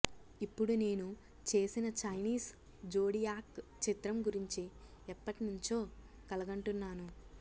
ఇప్పుడు నేను చేసిన చైనీస్ జోడియాక్ చిత్రం గురించి ఎప్పట్నించో కలగంటున్నాను